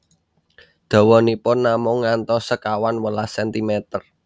Dawanipun namung ngantos sekawan welas sentimer